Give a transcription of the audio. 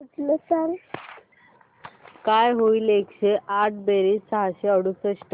काय होईल एकशे आठ बेरीज सहाशे अडुसष्ट